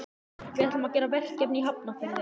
Við ætlum að gera verkefni í Hafnarfirði.